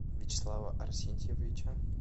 вячеслава арсентьевича